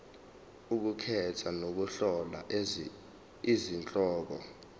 ukukhetha nokuhlola izihloko